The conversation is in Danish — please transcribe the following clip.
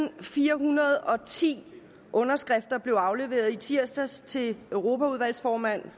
og firehundrede og ti underskrifter blev afleveret i tirsdags til formanden